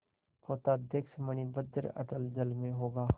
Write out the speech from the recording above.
पोताध्यक्ष मणिभद्र अतल जल में होगा